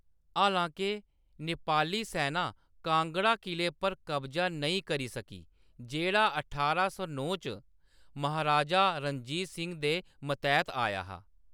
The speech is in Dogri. हालांके, नेपाली सैना कांगड़ा किले पर कब्जा नेईं करी सकी, जेह्‌‌ड़ा ठारां सौ नौ च महाराजा रणजीत सिंह दे मतैह्‌‌‌त आया हा।